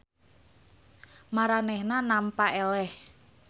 Maranehanana nampa eleh.